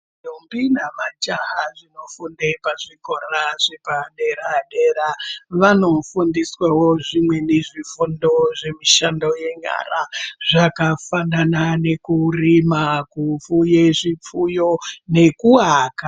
Ndombi namajaha zvinofunde pazvikora zvepadera-dera vanofundiswawo zvimweni zvifundo zvemushando yenyara zvakafanana nekurima, kufuye zvifuyo nekuwaka.